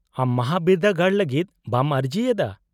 -ᱟᱢ ᱢᱟᱦᱟᱵᱤᱨᱫᱟᱹᱜᱟᱲ ᱞᱟᱹᱜᱤᱫ ᱵᱮᱢ ᱟᱹᱨᱡᱤᱭᱮᱫᱟ ?